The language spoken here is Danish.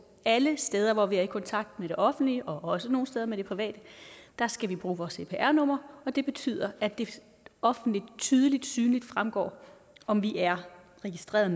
alle steder hvor vi er i kontakt med det offentlige og også nogle steder med det private skal vi bruge vores cpr nummer og det betyder at det offentligt tydeligt synligt fremgår om vi er registreret